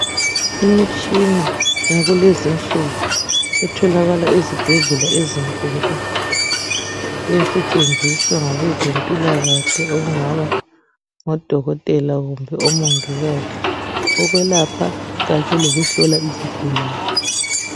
Imitshina yakulezinsuku etholakala ezibhedlela ezinkulu esetshenziswa ngabezempilakahle okungaba ngodokotela kumbe omongikazi ukwelapha kanye lokuhlola izigulane.